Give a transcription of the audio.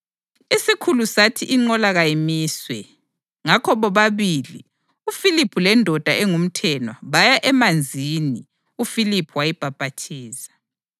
Isikhulu sathi inqola kayimiswe. Ngakho bobabili, uFiliphu lendoda engumthenwa baya emanzini uFiliphu wayibhaphathiza.